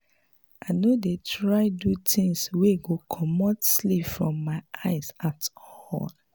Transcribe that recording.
i no dey try do tins wey go comot sleep from my eyes at all.